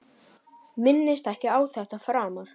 Minnist ekki á þetta framar.